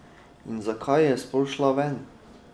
In zakaj je sploh šla ven?